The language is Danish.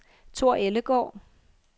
Thor Ellegaard